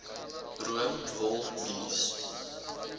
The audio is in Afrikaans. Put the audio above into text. room wol mielies